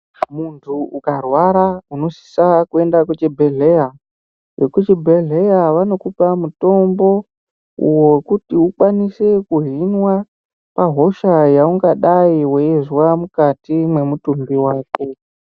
Muntu ukarwada unosisa kuenda kuchibhedhleya vekuchibhedhleya vanokupa mutombo uwo wekuti ukwanise kuhina hosha yaungadai weizwa mukati mwemutumbi wako.